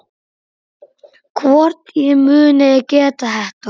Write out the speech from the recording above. Hvort ég muni geta þetta.